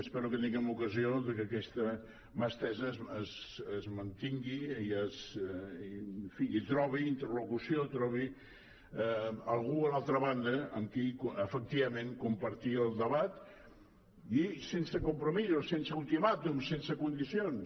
espero que tinguem ocasió de que aquesta mà estesa es mantingui i trobi interlocució trobi algú a l’altra banda amb qui efectivament compartir el debat i sense compromís o sense ultimàtum sense condicions